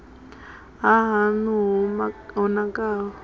na ha haṋu yo nakaho